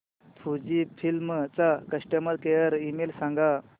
Fujifilm चा customer care email सांगा